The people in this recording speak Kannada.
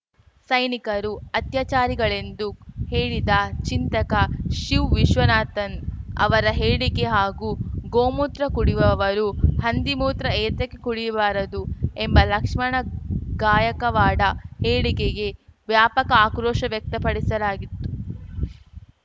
ಸೈನಿಕರು ಅತ್ಯಾಚಾರಿಗಳೆಂದು ಹೇಳಿದ ಚಿಂತಕ ಶಿವ್‌ ವಿಶ್ವನಾಥನ್‌ ಅವರ ಹೇಳಿಕೆ ಹಾಗೂ ಗೋಮೂತ್ರ ಕುಡಿಯುವವರು ಹಂದಿ ಮೂತ್ರ ಏತಕ್ಕೆ ಕುಡಿಯಬಾರದು ಎಂಬ ಲಕ್ಷ್ಮಣ ಗಾಯಕವಾಡ ಹೇಳಿಕೆಗೆ ವ್ಯಾಪಕ ಆಕ್ರೋಶ ವ್ಯಕ್ತಪಡಿಸಲಾಗಿತ್ತು